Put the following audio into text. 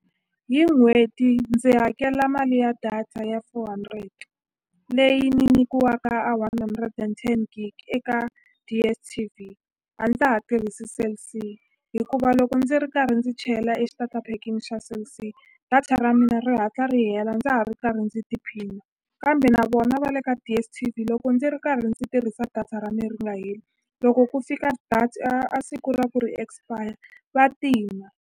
Hi n'hweti ndzi hakela mali ya data ya four hundred leyi ni nykiwaka a one hundred and ten gig eka DSTV a ndza ha tirhisi Cell C hikuva loko ndzi ri karhi ndzi chela e xitataphekini xa Cell C data ra mina ri hatla ri hela ndza ha ri karhi ndzi tiphina kambe na vona va le ka DSTV loko ndzi ri karhi ndzi tirhisa data ra me ri nga heli loko ku fika a a siku ra ku ri expire va tima.